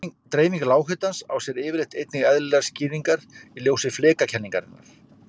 Dreifing lághitans á sér yfirleitt einnig eðlilegar skýringar í ljósi flekakenningarinnar.